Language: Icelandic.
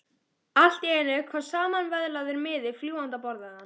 Allt í einu kom samanvöðlaður miði fljúgandi á borðið hans.